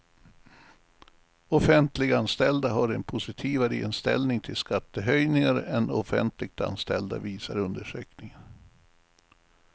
Offentliganställda har en positivare inställning till skattehöjningar än offentligt anställda, visar undersökningen.